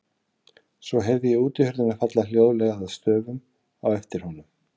Svo heyrði ég útihurðina falla hljóðlega að stöfum á eftir honum.